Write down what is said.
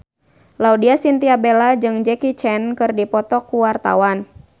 Laudya Chintya Bella jeung Jackie Chan keur dipoto ku wartawan